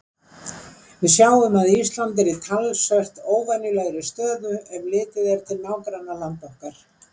Við sjáum að Ísland er í talsvert óvenjulegri stöðu, ef litið er til nágrannalanda okkar.